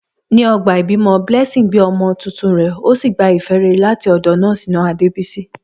Ní ọgbà ìbímọ, Blessing gbé ọmọ tuntun rẹ̀, ó sì gba ìfẹ́ rere láti ọ̀dọ̀ nọ́ọ̀sì náà, Adebisi.